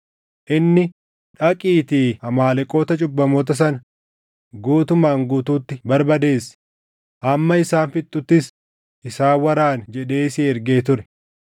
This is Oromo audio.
Inni, ‘Dhaqiitii Amaaleqoota cubbamoota sana guutumaan guutuutti barbadeessi; hamma isaan fixxuttis isaan waraani’ jedhee si ergee ture.